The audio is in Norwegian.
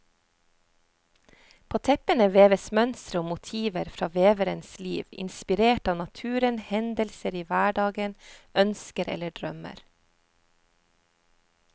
På teppene veves mønstre og motiver fra veverens liv, inspirert av naturen, hendelser i hverdagen, ønsker eller drømmer.